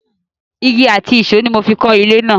Igi àti ìṣó ni mo fi kọ́ ilé náà.